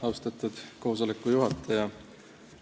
Austatud juhataja!